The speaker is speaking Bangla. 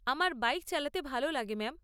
আমার বাইক চালাতে ভালো লাগে ম্যাম।